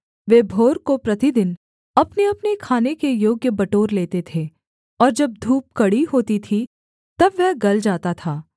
वे भोर को प्रतिदिन अपनेअपने खाने के योग्य बटोर लेते थे और जब धूप कड़ी होती थी तब वह गल जाता था